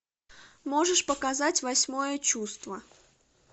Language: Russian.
можешь показать восьмое чувство